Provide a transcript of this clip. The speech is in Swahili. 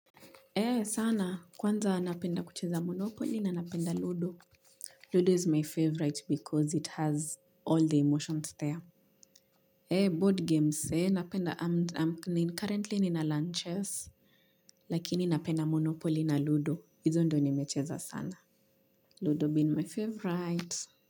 Sana kwanza napenda kucheza monopoli na napenda ludo ludo is my favorite because it has all the emotions there board games napenda am currently nina lunches lakini napenda monopoli na ludo hizo ndo nimecheza sana ludo been my favorite.